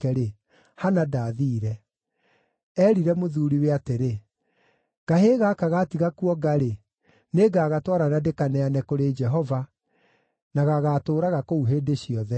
Hana ndaathiire. Eerire mũthuuriwe atĩrĩ, “Kahĩĩ gaka gaatiga kuonga-rĩ, nĩngagatwara na ndĩkaneane kũrĩ Jehova, na gagaatũũraga kũu hĩndĩ ciothe.”